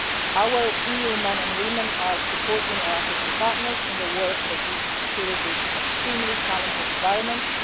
flag. Our EU men and women are supporting our African partners in their work for peace and security in extremely challenging environments.